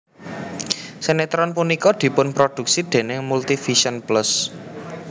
Sinetron punika dipunproduksi déning Multivision Plus